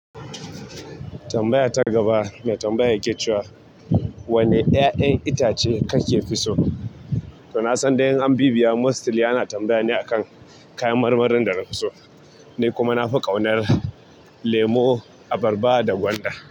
Tambaya ta gaba mai tambaya yake cewa, "Wane 'ya'yan itace kake fi so?" To na san dai in anbibiya, mostly ana tambaya ne akan kayan marmarin da na fi so. Ni kuma na fi ƙaunar lemo, abarba da gwanda.